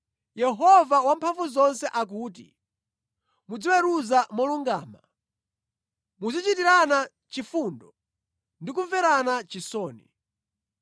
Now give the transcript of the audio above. “Yehova Wamphamvuzonse akuti, ‘Muziweruza molungama; muzichitirana chifundo ndi kumverana chisoni.